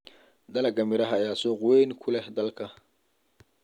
Dalagga miraha ayaa suuq weyn ku leh dalka.